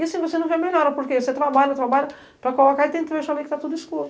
E assim, você não quer melhorar, porque você trabalha, trabalha, para colocar e tem trecho ali que tá tudo escuro.